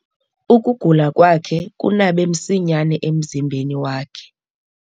Ukugula kwakhe kunabe msinyane emzimbeni wakhe.